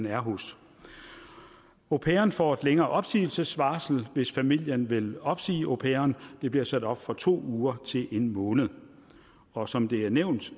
er hos au pairen får et længere opsigelsesvarsel hvis familien vil opsige au pairen det bliver sat op fra to uger til en måned og som det er nævnt